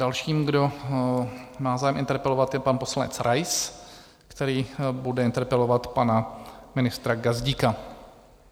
Dalším, kdo má zájem interpelovat, je pan poslanec Rais, který bude interpelovat pana ministra Gazdíka.